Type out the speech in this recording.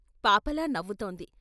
పాపలా నవ్వుతోంది.